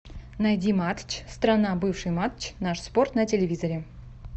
найди матч страна бывший матч наш спорт на телевизоре